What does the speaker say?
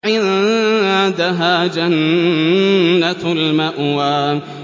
عِندَهَا جَنَّةُ الْمَأْوَىٰ